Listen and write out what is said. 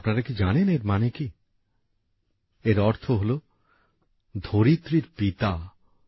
আপনারা কি জানেন এর মানে কি এর অর্থ হলো ধরিত্রীর পিতা